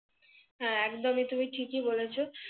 হ্যাঁ একদমই তুমি ঠিকই বলেছো